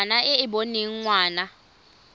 ngwana e e boneng ngwana